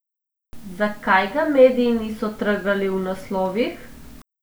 Zakaj ga mediji niso trgali v naslovih?